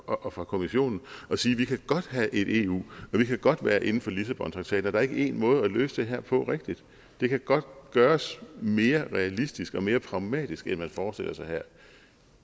og fra kommissionen og sige vi kan godt have et eu og vi kan godt være inden for lissabontraktaten og der er ikke én måde at løse det her på rigtigt det kan godt gøres mere realistisk og mere pragmatisk end man forestiller sig her